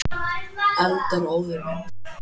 Eldar og óðir vindar